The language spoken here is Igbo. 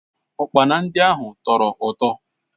Ụkpana ndị ahụ tọrọ ụtọ